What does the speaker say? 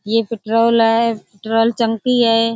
ये पेट्रोल ए । पेट्रोल टंकी है।